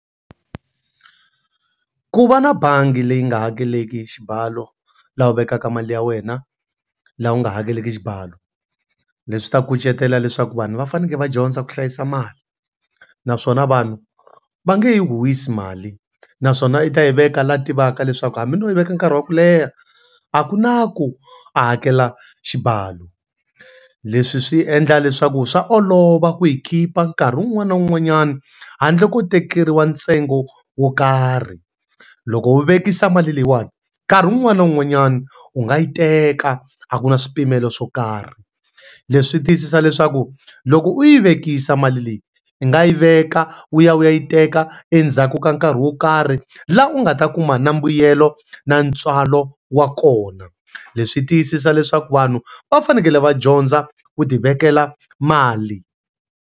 Ku va na bangi leyi nga hakeleki xibalo laha u vekaka mali ya wena, laha u nga hakeleki xibalo. Leswi ta kucetela leswaku vanhu va fanekele va dyondza ku hlayisa mali, naswona vanhu va nge yi huhwisi mali. Naswona u ta yi veka laha tivaka leswaku hambi no yi veka nkarhi wa ku leha, a ku na ku a hakela xibalo. Leswi swi endla leswaku swa olova ku yi keep-a nkarhi wun'wana na wun'wanyana handle ko tekeriwa ntsengo wo karhi. Loko u vekisa mali leyiwani, nkarhi wun'wana na wun'wanyana u nga yi teka a ku na swipimelo swo karhi. Leswi tiyisisa leswaku loko u yi vekisa mali leyi, u nga yi veka u ya u ya yi teka endzhaku ka nkarhi wo karhi laha u nga ta kuma na mbuyelo na ntswalo wa kona. Leswi tiyisisa leswaku vanhu va fanekele va dyondza ku ti vekela mali.